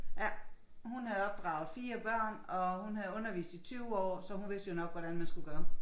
Ja. Hun havde opdraget 4 børn og hun havde undervist i 20 år så hun vidste jo nok hvordan man skulle gøre